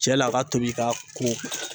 Cɛ la a ka tobi k'a ko